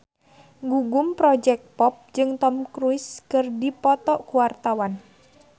Gugum Project Pop jeung Tom Cruise keur dipoto ku wartawan